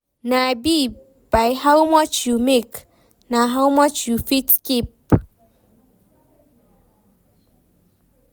No be by how much you make, na how much you fit keep.